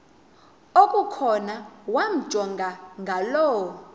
okukhona wamjongay ngaloo